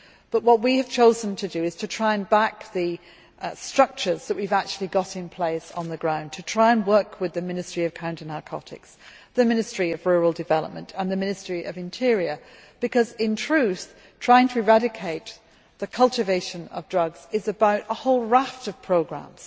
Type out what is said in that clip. But we have chosen to try and back the structures that we have actually got in place on the ground, to try and work with the Ministry of Counter Narcotics, the Ministry of Rural Development and the Ministry of the Interior, because, in truth, trying to eradicate the cultivation of drugs is about a whole raft of programmes.